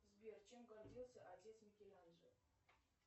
сбер чем гордился отец микеланджело